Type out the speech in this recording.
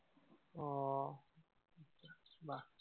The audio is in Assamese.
আহ বাহ